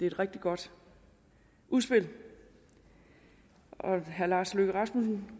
et rigtig godt udspil og herre lars løkke rasmussen